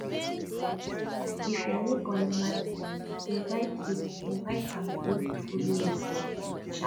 if your neighbor neva eat invite eat invite am make e follow you chop um